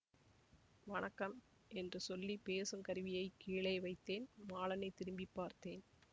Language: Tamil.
வணக்கம் என்று சொல்லி பேசும் கருவியைக் கீழே வைத்தேன் மாலனைத் திரும்பி பார்த்தேன்